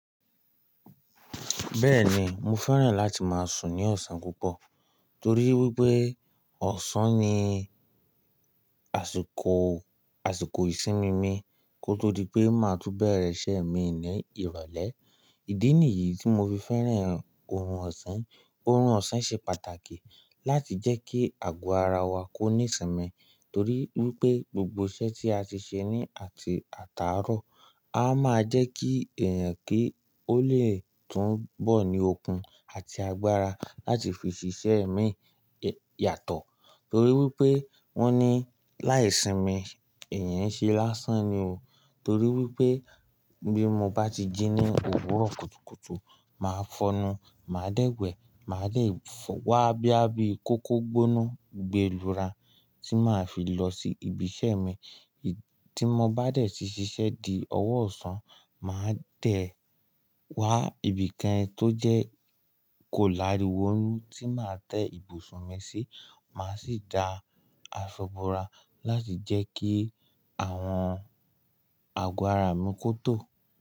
Bẹ́ẹ̀ni, mo fẹ́ràn láti máa sùn ní ọ̀sán púpọ̀ torí wípé ọ̀sán ni àsìkò, àsìkò ìsinmi mi kó tó di pé máa tú bẹ̀rẹ̀ iṣẹ́ mi ní ìrọ̀lẹ́. Ìdí nìyí tí mo fi fẹ́ràn órùn ọ̀sán. Orùn ọ̀sán ṣe pàtàkì láti jẹ́ kí àgọ́ ara wa kó ní ìsimi, torí wípé gbogbo iṣẹ́ tí a ti ṣe ní àti àtàárọ̀. A máa jẹ́ kí ẹ̀yàn kí ó le tún bọ̀ ní okun àti agbára láti fi ṣiṣẹ́ ẹ̀ mi yàtọ̀ torí wípé wón ní láì sí mi ẹ̀yàn ṣe lásán ni o. Torí wípé bí mo bá ti jí ní òwúrọ̀ kùtùkùtù, màá fọnu, màá dẹ́wẹ́, màá dẹ́ wá boya bi kókó gboona gbe lura tí màá fi lọ sí ibi iṣẹ́ mi. Tí mo bá dẹ̀ tí ṣíṣe di ọwọ́ ọ̀sán, màá dẹ̀ wá ibìkan tó jẹ́ kò láríwo tí màá tẹ́ ibùsùn mi sí. Màá sì da àso bo ra láti jẹ́ kí àwọn àgọ́ ara mi kó tò.